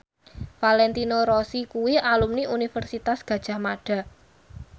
Valentino Rossi kuwi alumni Universitas Gadjah Mada